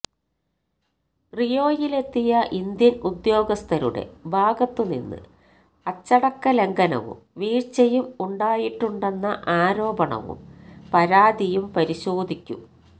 റിയോയിലെത്തിയ Indian ഉദ്യോഗസ്ഥരുടെ ഭാഗത്ത് നിന്ന് അച്ചടക്കലംഘനവും വീഴ്ച്ചയും ഉണ്ടായിട്ടുണ്ടെന്ന ആരോപണവും പരാതിയും പരിശോധിക്കും